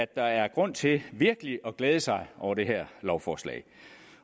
der er grund til virkelig at glæde sig over det her lovforslag